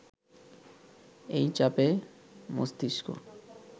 এই চাপে মস্তিস্ক